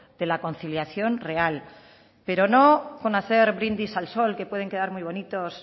de la conciliación real pero no con hacer brindis al sol que pueden quedar muy bonitos